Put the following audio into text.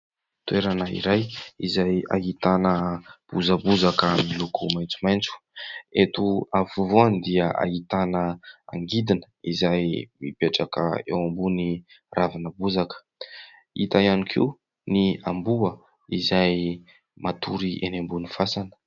Toerana iray izay ahitana bozabozaka miloko maitsomaitso, eto afovoany dia ahitana angidina izay mipetraka eo ambony ravina bozaka, hita ihany koa ny amboa izay matory eny ambony fasana.